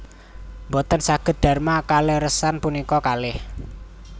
Mboten saged darma kaleresan punika kalih